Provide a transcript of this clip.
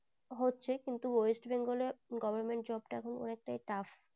হচ্ছে কিন্তু west bengal এ government job তা এখন হয়েছে tough